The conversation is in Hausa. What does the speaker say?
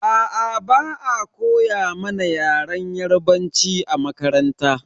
Aa, ba'a koya mana yaren yarbanci a makaranta.